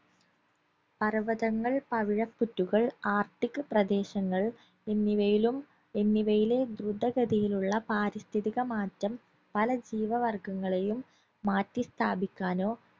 പർവതങ്ങൾ പവിഴപ്പുറ്റുകൾ arctic പ്രദേശങ്ങൾ എന്നിവയിലും എന്നിവയിലെ ദ്രുതഗതിയിലുള്ള പാരിസ്ഥിതിക മാറ്റം പല ജീവവർഗങ്ങളെയും മാറ്റി സ്ഥാപിക്കാനോ